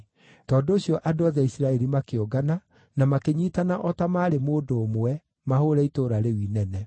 Tondũ ũcio andũ othe a Isiraeli makĩũngana na makĩnyiitana o ta maarĩ mũndũ ũmwe mahũũre itũũra rĩu inene.